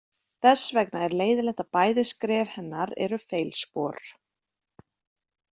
Þess vegna er leiðinlegt að bæði skref hennar eru feilspor.